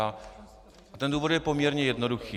A ten důvod je poměrně jednoduchý.